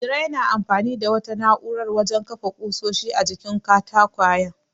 Iro yana amfani da wata na'urar wajen kafa ƙusoshin a jikin katakwayen.